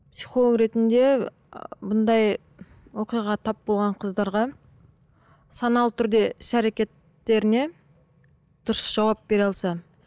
психолог ретінде бұндай оқиғаға тап болған қыздарға саналы түрде іс әрекеттеріне дұрыс жауап бере алса